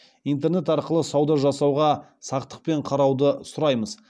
интернет арқылы сауда жасауға сақтықпен қарауды сұраймыз